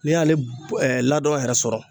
N'i y'ale ladon yɛrɛ sɔrɔ.